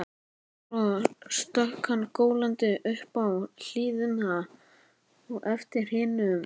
Svo stökk hann gólandi upp í hlíðina á eftir hinum.